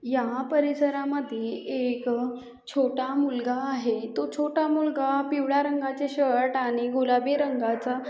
या परिसरा मध्ये एक छोटा मुलगा आहे. तो छोटा मुलगा पिवळ्या रंगाचे शर्ट आणि गुलाबी रंगाचा--